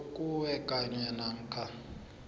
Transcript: kuwe kanye namkha